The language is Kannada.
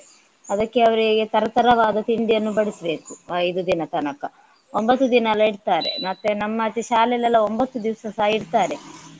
ಅದಕ್ಕೆ ಅವರಿಗೆ ತರ ತರವಾದ ತಿಂಡಿಯನ್ನು ಬಡಿಸ್ಬೇಕು ಐದು ದಿನದ ತನಕ. ಒಂಭತ್ತು ದಿನ ಎಲ್ಲಾ ಇಡ್ತಾರೆ ಮತ್ತೆ ನಮ್ಮಾಚೆ ಶಾಲೆಯಲ್ಲಿ ಎಲ್ಲಾ ಒಂಭತ್ತು ದಿವಸಸ ಇಡ್ತಾರೆ.